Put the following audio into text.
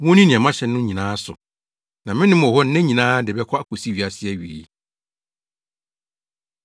na monkyerɛkyerɛ wɔn sɛ, wonni nea mahyɛ mo no nyinaa so. Na me ne mo wɔ hɔ nna nyinaa de bɛkɔ akosi wiase awiei.”